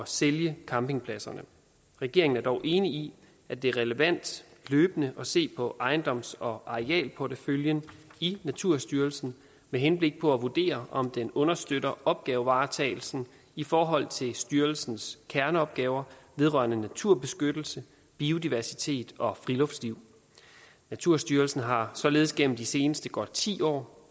sælge campingpladserne regeringen er dog enig i at det er relevant løbende at se på ejendoms og arealporteføljen i naturstyrelsen med henblik på at vurdere om den understøtter opgavevaretagelsen i forhold til styrelsens kerneopgaver vedrørende naturbeskyttelse biodiversitet og friluftsliv naturstyrelsen har således gennem de seneste godt ti år